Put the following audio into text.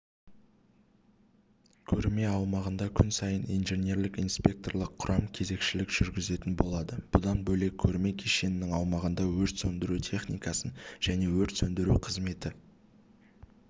көрме аумағында күн сайын инженерлік-инспекторлық құрам кезекшілік жүргізетін болады бұдан бөлек көрме кешенінің аумағында өрт сөндіру техникасын жіне өрт сөндіру қызметі